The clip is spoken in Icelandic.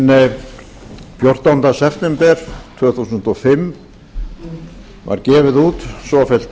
hinn fjórtánda september tvö þúsund og fimm var gefið út svofellt